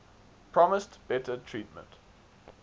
promised better treatment